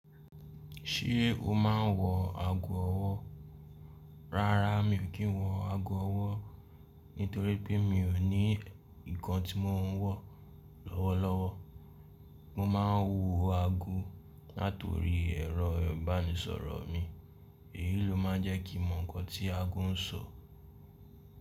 Ṣé o máa n wọ ago ọwọ́? Rárá, mi ò kí n wọ ago ọwọ́ nítorí pé mi ò ní ǹnkan tí mọ̀ n wọ́ lọ́wọ́lọ́wọ́. Mo ma n wo ago látorí ẹ̀rọ ìbánisọ̀rọ̀ mi, èyí ló ma n jẹ́ kí mọ̀ nǹkan tí ago n sọ.